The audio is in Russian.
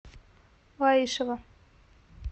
лаишево